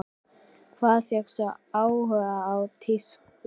Hvaðan fékkstu áhugann á tísku?